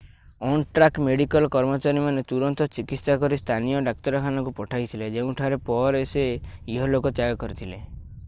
on-track medical କର୍ମଚାରୀମାନେ ତୁରନ୍ତ ଚିକିତ୍ସା କରି ସ୍ଥାନୀୟ ଡାକ୍ତରଖାନାକୁ ପଠାଇଥିଲେ ଯେଉଁଠାରେ ପରେ ସେ ଇହଲୋକ ତ୍ୟାଗ କରିଥିଲେ